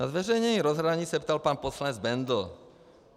Na zveřejnění rozhraní se ptal pan poslanec Bendl.